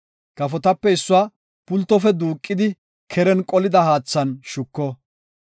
Kafotape issuwa pultofe duuqidi keren qolida haathan shuko.